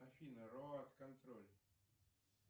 афина роад контроль